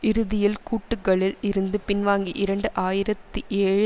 இறுதியில் கூட்டுக்களில் இருந்து பின்வாங்கி இரண்டு ஆயிரத்தி ஏழு